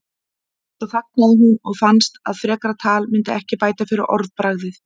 Svo þagnaði hún og fannst að frekara tal myndi ekki bæta fyrir orðbragðið.